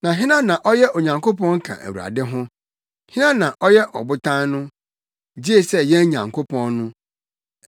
Na hena na ɔyɛ Onyankopɔn ka Awurade ho? Hena na ɔyɛ Ɔbotan no? Gye sɛ yɛn Nyankopɔn no.